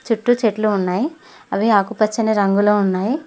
చుట్టూ చెట్లు ఉన్నాయ్ అవి ఆకుపచ్చని రంగులో ఉన్నాయ్.